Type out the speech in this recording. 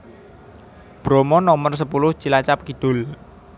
Bromo Nomer sepuluh Cilacap Kidul